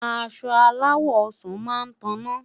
aṣọ alawọ ọsán má tana